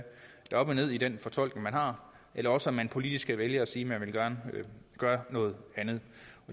der er op og ned i den fortolkning man har eller også at man politisk kan vælge at sige at man gerne vil gøre noget andet